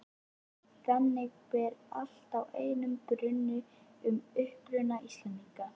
Þannig ber allt að einum brunni um uppruna Íslendinga.